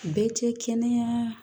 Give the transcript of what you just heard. Bɛɛ tɛ kɛnɛya